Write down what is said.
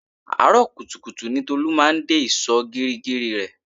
Àárọ̀ kùtùkùtù ní Tolu máa ń dé ìsò geri geri rẹ